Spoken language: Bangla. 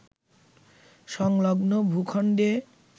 সংলগ্ন ভূখণ্ডে